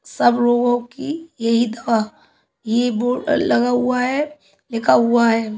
सब रोगो की यही दवा ये बोर्ड लगा हुआ है लिखा हुआ है।